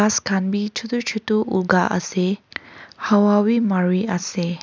ghass khan bhi chotu chotu ugha ase hawa bhi mari ase.